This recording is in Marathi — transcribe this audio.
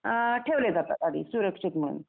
ठेवले जातात आधी सुरक्षित म्हणून